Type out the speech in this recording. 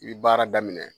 I bi baara daminɛ